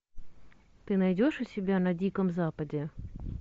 ты найдешь у себя на диком западе